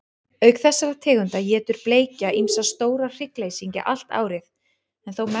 Auk þessara tegunda étur bleikja ýmsa stóra hryggleysingja allt árið, en þó mest á vorin.